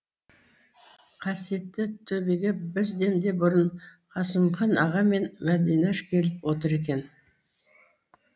қасиетті төбеге бізден де бұрын қасымхан аға мен мәдинаш келіп отыр екен